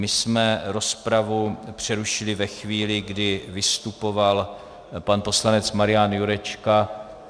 My jsme rozpravu přerušili ve chvíli, kdy vystupoval pan poslanec Marian Jurečka.